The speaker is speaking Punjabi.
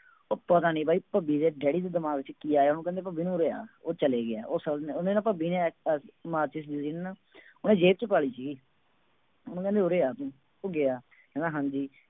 ਉਹ ਪਤਾ ਨੀ ਬਾਈ ਭੱਬੀ ਦੇ ਡੈਡੀ ਦੇ ਦਿਮਾਗ ਚ ਕੀ ਆਇਆ ਉਹ ਕਹਿੰਦੇ ਭੱਬੀ ਨੂੰ ਉਰੇ ਆ ਉਹ ਚਲੇ ਗਿਆ ਉਹਨੇ ਨਾ ਭੱਬੀ ਨੇ ਮਾਚਿਸ ਸੀ ਨਾ ਉਹਨੇ ਜੇਬ ਚ ਪਾ ਲਈ ਸੀਗੀ ਉਹਨੂੰ ਕਹਿੰਦੇ ਉਰੇ ਆ ਤੂੰ ਉਹ ਗਿਆ ਕਹਿੰਦਾ ਹਾਂਜੀ